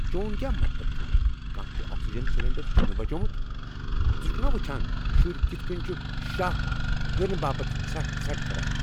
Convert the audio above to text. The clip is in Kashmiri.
چون کیا مطلب چُھ كانہہ تہِ آکسیجن سلنڈر چھٗنہ بچومُت ؟ ژٕ چُھكھ نا وچھان شُرۍ کتھ کنۍ چھُ شَہہ ہینہ باپت ژھرٹہ ژھرٹھ کران؟